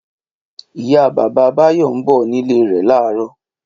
Ìyá-bàbá Báyọ̀ ń bọ̀ nílé rẹ̀ láàárọ̀.